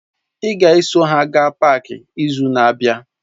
Ị ga-eso ha gaa páák izu na-abịa!